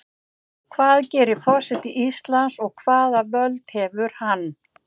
Hvað gerir forseti Íslands og hvaða völd hefur hann?